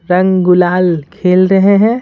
रंग गुलाल खेल रहे हैं।